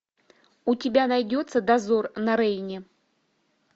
у тебя найдется дозор на рейне